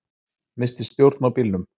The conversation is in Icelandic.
Missti stjórn á bílnum